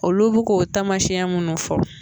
Olu bi k'o tamasiyɛn munnu fɔ